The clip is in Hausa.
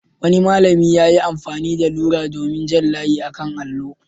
Wani malami ya yi amfani da rula domin jan layi a kan allo.